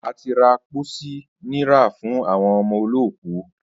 À ti ra pósí nira fún àwo̩n o̩mo̩ olóòkú